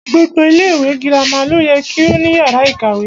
Gbogbo ilẹ ìwé girama lo yẹ ko ní yàrá ìkàwé.